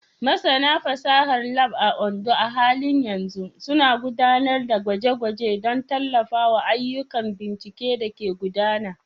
Masana fasahar Lab a Ondo a halin yanzu suna gudanar da gwaje-gwaje don tallafawa ayyukan bincike da ke gudana.